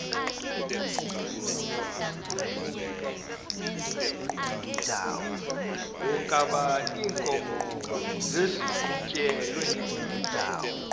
wokaba iinkomo maziqhutyelwe